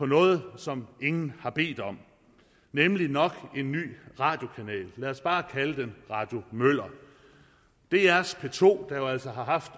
noget som ingen har bedt om nemlig nok en ny radiokanal lad os bare kalde den radio møller drs p to der jo altså har haft